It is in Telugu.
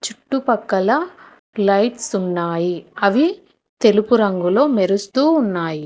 చుట్టుపక్కల లైట్స్ ఉన్నాయి అవి తెలుపు రంగులో మెరుస్తూ ఉన్నాయి.